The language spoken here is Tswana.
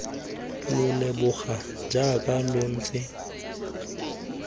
lo leboga jaaka lo ntse